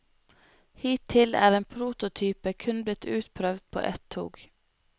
Hittil er en prototyp kun blitt utprøvd på ett tog.